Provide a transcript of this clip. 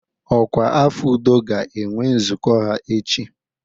Ọkwa afọ udo ga-enwe nzukọ ha echi.